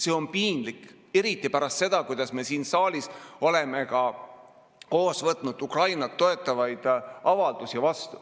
See on piinlik eriti pärast seda, kui me siin saalis oleme koos vastu võtnud Ukrainat toetavaid avaldusi.